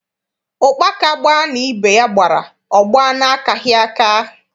Ụkpaka gbaa na ibe ya gbara, ọ gbaa n’akaghị aka.